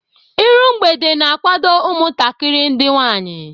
Ịru mgbede na-akwadobe umutakiri ndi nwanyi.